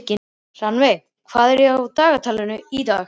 Rannveig, hvað er á dagatalinu í dag?